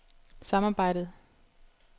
samarbejdet